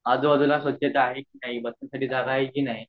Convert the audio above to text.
आजू बाजू ला स्वच्छता आहे कि नाही